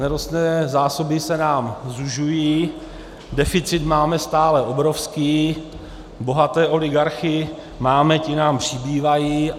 Nerostné zásoby se nám zužují, deficit máme stále obrovský, bohaté oligarchy máme - ti nám přibývají.